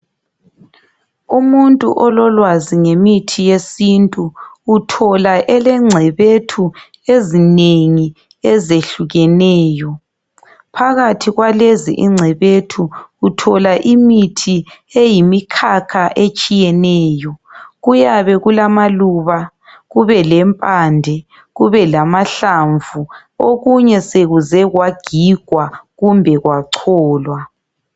Umuntu ololwazi ngemithi yesintu uthola elengcebethu ezinengi ezehlukeneyo. Phakathi kwalezi ingcebethu uthola imithi eyimikhakha etshiyeneyo. Kuyabe kulamaluba kube lempande kube lamahlamvu okunye sokuze kwagigwa kumbe kwacholwa.